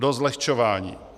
Dost zlehčování.